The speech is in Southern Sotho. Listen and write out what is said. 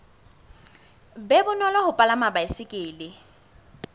be bonolo ho palama baesekele